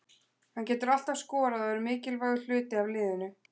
Hann getur alltaf skorað og er mikilvægur hluti af liðinu.